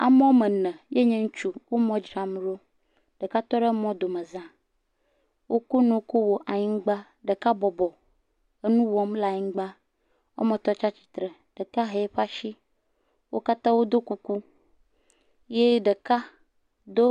Ame woame ene ye nye ŋutsu ye le mɔ dzram ɖo ɖeka tɔ ɖe mɔ domeza, wokɔ nuwo kɔ wɔ anyigba ɖeka bɔbɔ enu wɔm le anyigba etɔ̃ tsi atsitre ɖeka he yeƒe asi wo katã do kuku ye ɖeka do.